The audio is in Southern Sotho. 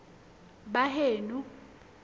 baheno